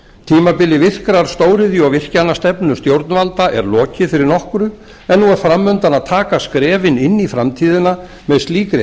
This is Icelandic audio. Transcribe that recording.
tímabili virkrar stóriðju og virkjanastefnu stjórnvalda er lokið fyrir nokkru en nú er fram undan að taka skrefin inn í framtíðina með slíkri